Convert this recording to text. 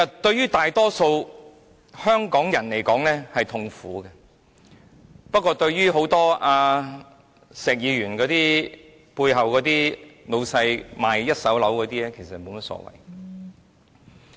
對於大多數香港人來說，這是痛苦的，但對於石議員背後那些賣一手樓的老闆來說，則沒有甚麼所謂。